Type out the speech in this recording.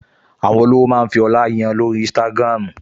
Àwọn olówó máa ń fi ọlá yan lórí Instagram